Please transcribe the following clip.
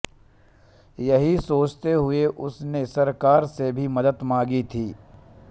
यही सोचते हुए उसने सरकार से भी मदद मांगी थी